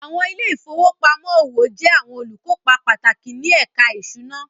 Àwọn ilé ìfowópamọ́ òwò jẹ́ àwọn olùkópa pàtàkì ní ẹ̀ka ìṣúná